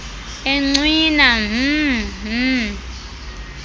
encwina mh mh